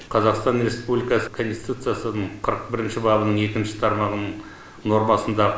қазақстан республикасы конституциясының қырық бірінші бабының екінші тармағының нормасында